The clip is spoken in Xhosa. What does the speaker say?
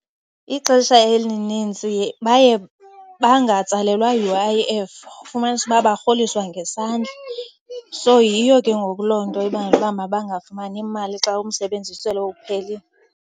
Ixesha elinintsi baye bangatsalelwa U_I_F, ufumanise uba barholiswa ngesandla. So yiyo ke ngoku loo nto ibangela uba mabangafumani mali xa umsebenzi sele uphelile.